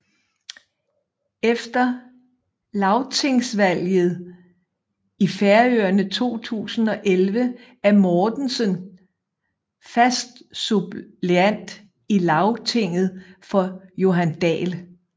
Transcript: Efter lagtingsvalget i Færøerne 2011 er Mortensen fast suppleant i Lagtinget for Johan Dahl